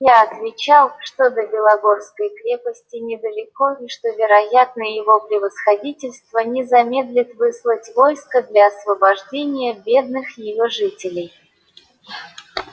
я отвечал что до белогорской крепости недалеко и что вероятно его превосходительство не замедлит выслать войско для освобождения бедных её жителей